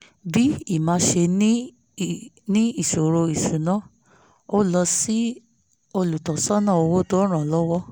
bí emma ṣe ní iṣòro ìṣúnná ó lọ sí olùtọ́sọ́nà owó tó ràn án lọ́wọ́